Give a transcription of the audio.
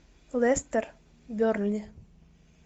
лестер бернли